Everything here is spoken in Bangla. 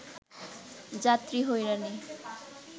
যাত্রী হয়রানি